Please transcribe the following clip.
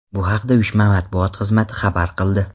Bu haqda uyushma matbuot xizmati xabar qildi .